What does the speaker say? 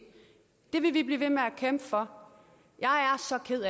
for